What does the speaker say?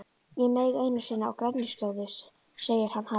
Ég meig einu sinni á grenjuskjóðu, segir hann hægt.